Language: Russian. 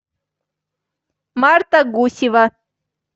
марта гусева